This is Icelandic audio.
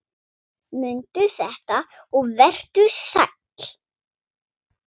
Mundu þetta og vertu sæll!